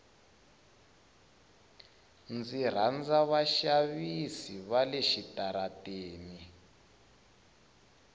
ndzi rhandza vaxavisi vale switarateni